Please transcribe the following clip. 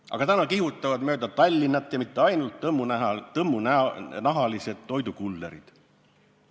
Aga täna kihutavad mööda Tallinna, ja mitte ainult, tõmmunahalised toidukullerid.